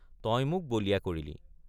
তই মোক বলিয়া কৰিলি।